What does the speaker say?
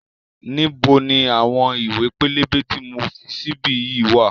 Níbo ni àwọn ìwé pélébé tí mo fi sí bí yìí wá?